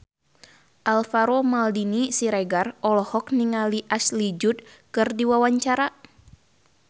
Alvaro Maldini Siregar olohok ningali Ashley Judd keur diwawancara